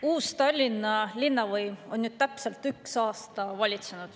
Uus Tallinna linnavõim on nüüd täpselt ühe aasta valitsenud.